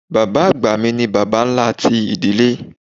Bàbá àgbà mi ni Bàbá ńlá ti ìdílé.